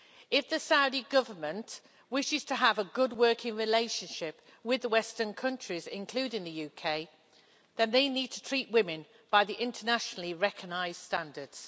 If the Saudi Government wishes to have a good working relationship with the Western countries, including the UK, then they need to treat women by the internationally recognised standards.